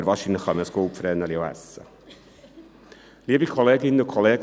Aber wahrscheinlich kann man ein «Goldvreneli» auch essen.